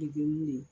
Dege mun ye